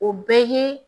O bɛɛ ye